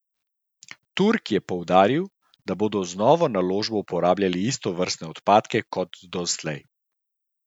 Turk je poudaril, da bodo z novo naložbo uporabljali istovrstne odpadke kot doslej.